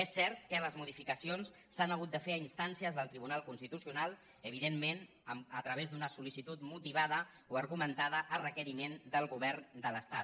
és cert que les modificacions s’han hagut de fer a instàncies del tribunal constituci·onal evidentment a través d’una sol·licitud motivada o argumentada a requeriment del govern de l’estat